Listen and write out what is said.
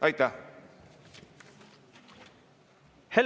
Aitäh!